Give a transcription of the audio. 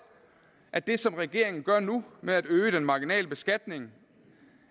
at det som regeringen gør nu med at øge den marginale beskatning